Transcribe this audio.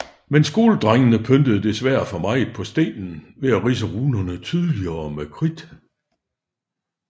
Men skoledrengene pyntede desværre for meget på stenen ved at ridse runerne tydeligere med kridt